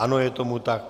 Ano, je tomu tak.